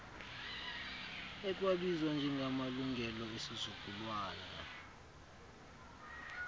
ekwabizwa njengamalungelo esizukulwana